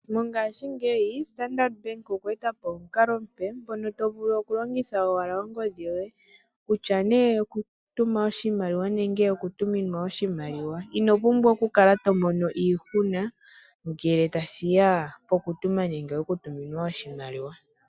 Mongaashingeyi Standard Bank okwe e ta po omukalo omupe ngono to vulu oku longitha owala ongodhi yoye kutya nee oku tuma oshimaliwa nenge oku tuminwa oshimaliwa, ino pumbwa oku kala to mono iihuna ngele tashi ya pokutuma nenge poku tuminwa oshimaliwa.